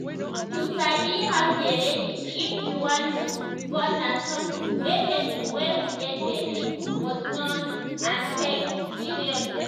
to sabi how to dey ready if you wan um born na something wey person wey um get belle must um know n take seriously